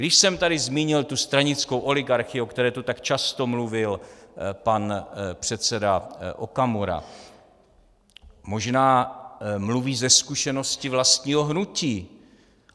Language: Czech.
Když jsem tady zmínil tu stranickou oligarchii, o které tu tak často mluvil pan předseda Okamura, možná mluví ze zkušenosti vlastního hnutí.